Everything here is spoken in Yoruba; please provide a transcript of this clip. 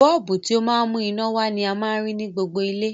Bọ́ọ̀bù, ti o ma n mú iná wa ni a ma n rí ni gbogbo ilé